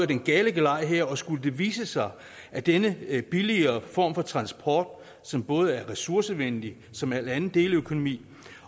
den gale vej her og skulle det vise sig at denne billigere form for transport som både er ressourcevenlig som al anden deleøkonomi